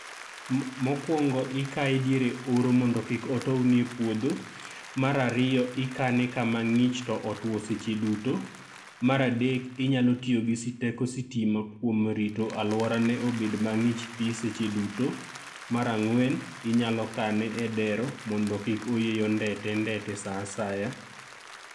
Mok mokuongo ikae diere oro mondo kik otowni e puodho, mar ariyo ikane kama ng'ich to otuo seche duto, mar adek inyalo tiyo gi sti gi teko sitima kuom rito alworane obed mang'ich thi seche duto, mar ang'wen inyalo kane e dero mondo kik oyieyo ndete ndete saa asaya.